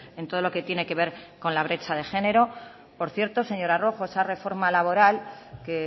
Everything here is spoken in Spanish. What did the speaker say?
en todo lo que tiene que ver con la brecha de género por cierto señora rojo esa reforma laboral que